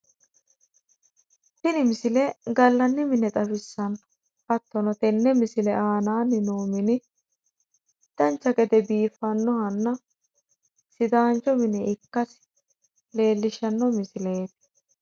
Tini misile gallanni mine xawissanno. Hattono tenne misile aanaanni noo mini dancha gede biifannohanna sidaancho mine ikkasi leellishshanno misileeti.